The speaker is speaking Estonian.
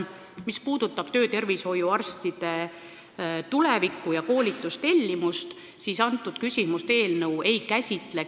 Mis puudutab töötervishoiuarstide tulevikku ja koolitustellimust, siis seda küsimust eelnõu ei käsitle.